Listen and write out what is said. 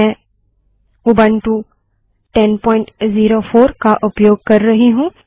मैं उबंटु 1004 का उपयोग कर रही हूँ